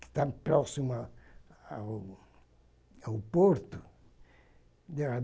que estava próximo ao ao ao porto.